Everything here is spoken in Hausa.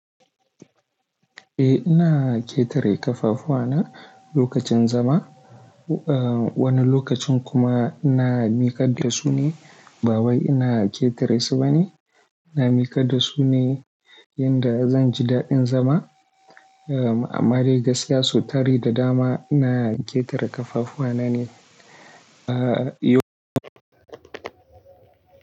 Eh, ina ƙetare ƙafafuwa na lokacin zama, wani lokacin kuma ina miƙa da su ne. Ba wai ina ƙetare su ba ne, ina miƙa da su ne yanda zan ji daɗin zama. Amma dai gaskiya sau tari da dama ina ƙetare ƙafafuwa na ne, a.